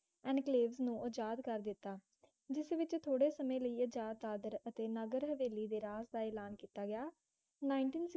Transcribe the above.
enclave ਨੂੰ ਆਜ਼ਾਦ ਕਰ ਦਿਤਾ ਜਿਸ ਵਿੱਚ ਥੋੜੇ ਸਮੇਂ ਲਈ ਆਜ਼ਾਦ ਦਾਦਰ ਅਤੇ ਨਗਰ ਹਵੇਲੀ ਰਾਜ ਦਾ ਐਲਾਨ ਕੀਤਾ ਗਿਆ nineteen